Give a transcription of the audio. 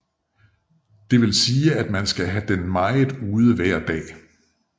Det vil sige at man skal have den meget ude hver dag